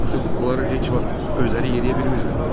Axı kuklaları heç vaxt özləri yeriyə bilmirlər.